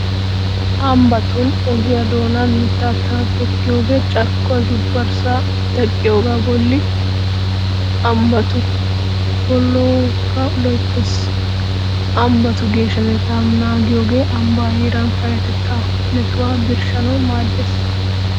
Ambbatun ogiyaa doonan mittata tokkiyogee carkkuwaa zuubbarssaa teqqiyogaa bolli ambbatu puulaakka loyttees . Ambbatu geeshshatettaa naagiyogee ambbaa heeraa payyatettaa metuwaa birshshanawu maaddees.